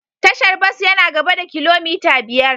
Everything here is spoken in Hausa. Tashar bas yana gaba da kilomita biyar.